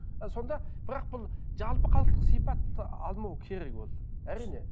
ы сонда бірақ бұл жалпы халықтық сипатты алмау керек ол әрине